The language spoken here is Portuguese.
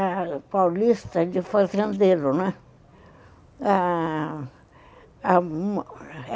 A paulista de fazendeiro, né? Ah...